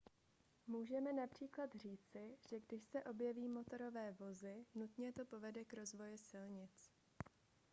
můžeme například říci že když se objeví motorové vozy nutně to povede k rozvoji silnic